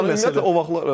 O da məsələ.